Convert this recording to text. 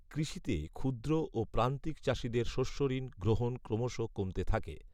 কৃষিতে ক্ষুদ্র ও প্রান্তিক চাষিদের শস্যঋণ গ্রহণ ক্রমশ কমতে থাকে